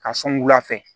Ka sɔn wula fɛ